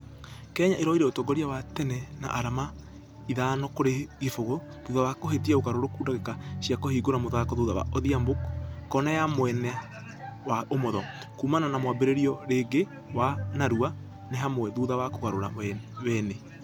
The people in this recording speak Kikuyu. Kenya ĩrũire ũtongoria wa tene na arama itbano kũrĩ kĩbũgũ thutha wa kũhĩtia ũgarũrũku dagĩka cia kũhingũra mũthako thutha wa odhiambo ....kona ya mwena wa ũmotho. Kuumana na mwambĩrĩrio rĩngĩ wa narua nĩ humwa thutha wa kũgarũra wene.